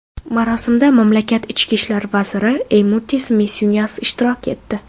Marosimda mamlakat ichki ishlar vaziri Eymutis Misyunas ishtirok etdi.